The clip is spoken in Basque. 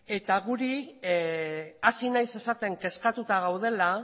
eta hasi naiz esaten kezkatuta gaudela